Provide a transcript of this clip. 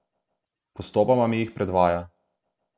Postopoma mi jih predvaja.